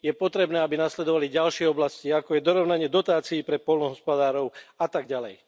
Je potrebné, aby nasledovali ďalšie oblasti, ako je dorovnanie dotácií pre poľnohospodárov a tak ďalej.